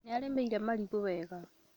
Nĩarĩmĩire marigũwega